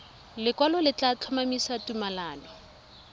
lekwalo le tla tlhomamisa tumalano